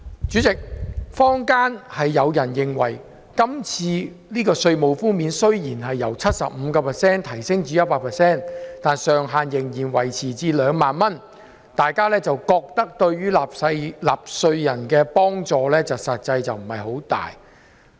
主席，坊間有人認為，雖然今次的稅務寬免由 75% 提升至 100%， 但上限仍然維持2萬元，對於納稅人的實際幫助不大。